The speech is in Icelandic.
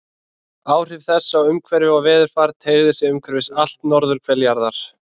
Áhrif þess á umhverfi og veðurfar teygðu sig umhverfis allt norðurhvel jarðar.